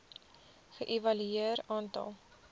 ge evalueer aantal